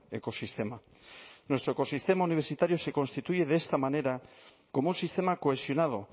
ekosistema nuestro ecosistema universitario se constituye de esta manera como un sistema cohesionado